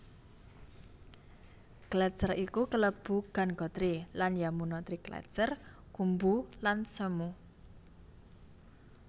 Gletser iku kelebu Gangotri lan Yamunotri Gletser Khumbu lan Zemu